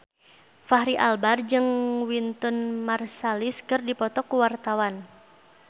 Fachri Albar jeung Wynton Marsalis keur dipoto ku wartawan